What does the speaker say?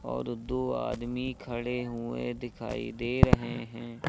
और दो आदमी खड़े हुए दिखाई दे रहे हैं।